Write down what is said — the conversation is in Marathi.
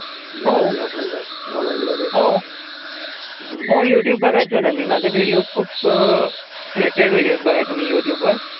हो. युट्युब बघायचो न मी. माझे विडीयोस खूप अं सिलेक्टेड विडीयोस बघायचो मी युट्युब वर.